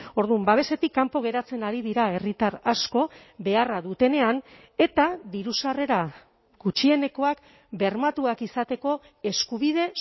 orduan babesetik kanpo geratzen ari dira herritar asko beharra dutenean eta diru sarrera gutxienekoak bermatuak izateko eskubide